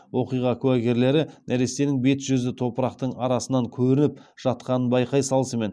оқиға куәгерлері нәрестенің бет жүзі топырақтың арасынан көрініп жатқанын байқай салысымен